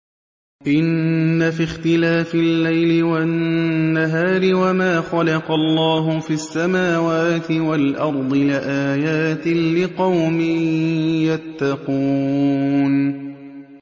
إِنَّ فِي اخْتِلَافِ اللَّيْلِ وَالنَّهَارِ وَمَا خَلَقَ اللَّهُ فِي السَّمَاوَاتِ وَالْأَرْضِ لَآيَاتٍ لِّقَوْمٍ يَتَّقُونَ